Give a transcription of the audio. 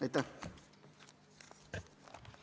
Aitäh!